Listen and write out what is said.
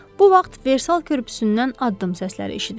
Bu vaxt versal körpüsündən addım səsləri eşidildi.